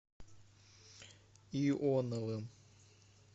ионовым